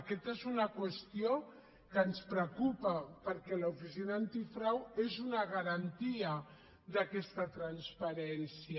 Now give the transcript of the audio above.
aquesta és una qüestió que ens preocupa perquè l’oficina antifrau és una garantia d’aquesta transparència